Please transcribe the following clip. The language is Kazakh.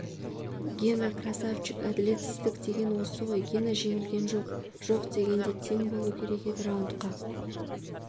гена красавчик әділетсіздік деген осы ғой гена жеңілген жоқ жоқ дегенде тең болу керек еді раундқа